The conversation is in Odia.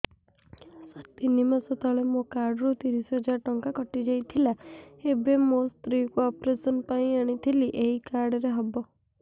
ସାର ତିନି ମାସ ତଳେ ମୋ କାର୍ଡ ରୁ ତିରିଶ ହଜାର ଟଙ୍କା କଟିଯାଇଥିଲା ଏବେ ମୋ ସ୍ତ୍ରୀ କୁ ଅପେରସନ ପାଇଁ ଆଣିଥିଲି ଏଇ କାର୍ଡ ରେ ହବ